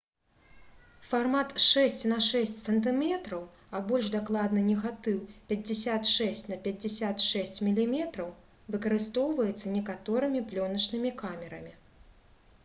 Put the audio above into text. фармат 6 на 6 см а больш дакладна негатыў 56 на 56 мм выкарыстоўваецца некаторымі плёначнымі камерамі